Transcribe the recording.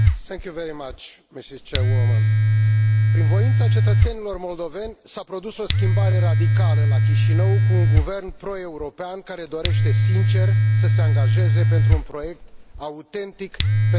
Prin voința cetățenilor moldoveni s a produs o schimbare radicală la Chișinău cu un guvern proeuropean care dorește, sincer, să se angajeze pentru un proiect autentic pentru Republica Moldova, un proiect european.